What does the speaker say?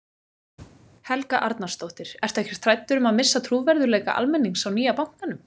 Helga Arnarsdóttir: Ertu ekkert hræddur um að missa trúverðugleika almennings á nýja bankanum?